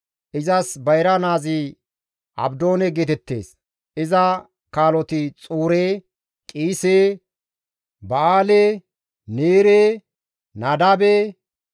Izas bayra naazi Abdoone geetettees; iza kaaloti Xuure, Qiise, Ba7aale, Neerey Nadaabe,